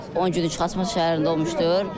O 10 günlük Xaçmaz şəhərində olmuşdur.